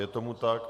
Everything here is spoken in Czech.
Je tomu tak.